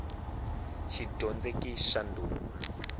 xidyondzeki xa ndhuma